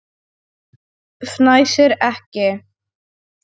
Fnæsir ekki.